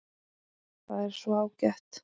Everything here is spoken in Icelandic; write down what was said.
Það er svo ágætt.